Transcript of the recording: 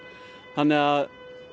þannig að